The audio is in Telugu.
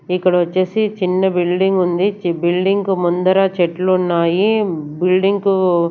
ఇక్కడ వచ్చేసి చిన్న బిల్డింగ్ ఉంది చి బిల్డింగ్ కు ముందర చెట్లు ఉన్నాయి బిల్డింగ్ కు --